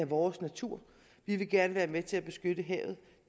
vores natur vi vil gerne være med til at beskytte havet